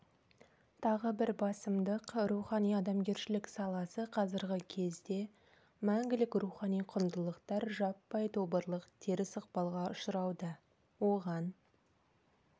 тағы бір басымдық рухани-адамгершілік саласы қазіргі кезде мәңгілік рухани құндылықтар жаппай тобырлық теріс ықпалға ұшырауда оған